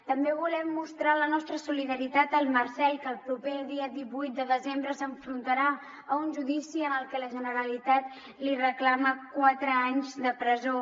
també volem mostrar la nostra solidaritat al marcel que el proper dia divuit de desembre s’enfrontarà a un judici en el que la generalitat li reclama quatre anys de presó